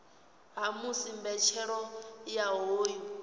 ha musi mbetshelo ya hoyu